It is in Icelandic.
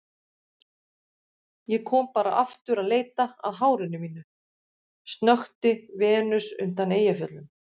Ég kom bara aftur að leita að hárinu mínu, snökti Venus undan Eyjafjöllum.